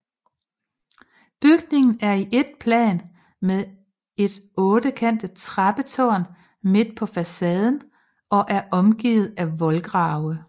Bygningen er i ét plan med et ottekantet trappetårn midt på facaden og er omgivet af voldgrave